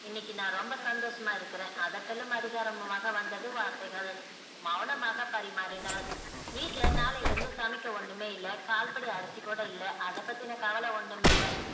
இன்னைக்கு நான் ரொம்ப சந்தோஷம்மா இருக்குற அதட்டலும் அதிகாரமும் வந்தது வார்த்தைகள் மௌனமாக பரிமாறினால் வீட்டுல்ல நாளைல இருந்து சமைக்க ஒன்னுமே இல்ல கால் படி அருசி கூட இல்ல அத பத்தி கவல ஒன்னும் இல்ல